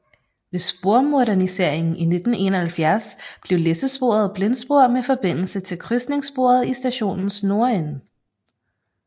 Ved spormoderniseringen i 1971 blev læssesporet blindspor med forbindelse til krydsningssporet i stationens nordende